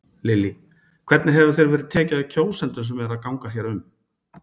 Lillý: Hvernig hefur þér verið tekið af kjósendum sem eru að ganga hér um?